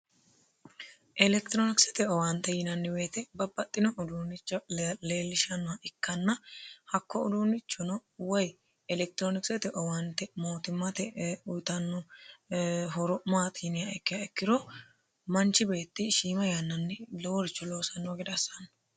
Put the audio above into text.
Elekitironskete owaante yinanni woyiite babbaxino uduunne leellishshanoha ikkana horosino maati yinummoro manchi beetti shiima yannanni lowore loosiranni gede assate yaate.